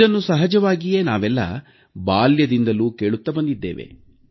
ಇದನ್ನು ಸಹಜವಾಗಿಯೇ ನಾವೆಲ್ಲ ಬಾಲ್ಯದಿಂದಲೂ ಕೇಳುತ್ತಾ ಬಂದಿದ್ದೇವೆ